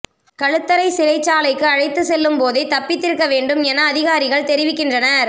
களுத்தறை சிறைச்சாலைக்கு அழைத்து செல்லும் போதே தப்பித்திருக்க வேண்டும் என அதிகாரிகள் தெரிவிக்கின்றனர்